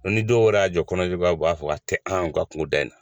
Ni dɔw yɛrɛ y'a jɔ kɔnɔna juguya ma u b'a fɔ ka tɛ an ka kunda na.